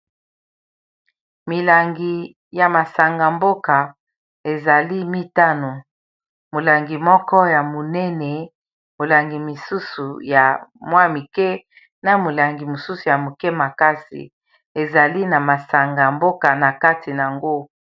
milangi ya masanga-mboka ezali mitano molangi moko ya monene molangi mosusu ya mwa mike na molangi mosusu ya moke makasi ezali na masanga mboka na kati yango